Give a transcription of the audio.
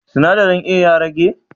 Sinadarin A ya rage?